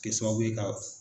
kɛ sababu ye ka